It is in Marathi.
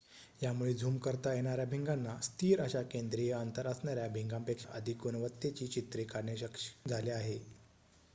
यामुळे झूम करता येणाऱ्या भिंगाना स्थिर अशा केद्रीय अंतर असणाऱ्या भिंगापेक्षा अधिक गुणवत्तेची चित्रे काढणे शक्य झाले आहे